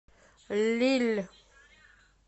лилль